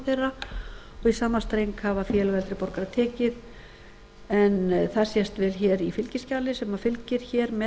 í sama streng hafa félög eldri borgara tekið en það sést vel í fylgiskjali sem fylgir með